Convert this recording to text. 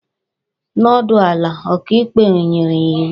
Nọdụ ala! Ọkaikpe nyere ya iwu